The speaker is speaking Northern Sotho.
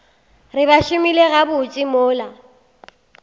re ba šomile gabotse mola